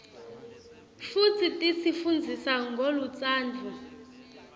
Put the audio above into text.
futsi tisi fundzisa ngolutsandvo